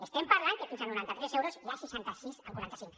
estem parlant que fins a noranta tres euros n’hi ha seixanta sis coma quaranta cinc